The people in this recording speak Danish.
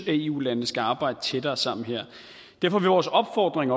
eu landene skal arbejde tættere sammen her derfor vil vores opfordring